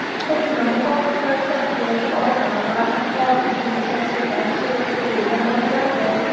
Huquqni muhofaza qilish organlari hodisa yuzasidan surishtiruvni boshladi.